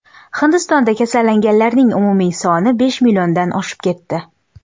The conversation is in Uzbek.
Hindistonda kasallanganlarning umumiy soni besh milliondan oshib ketdi.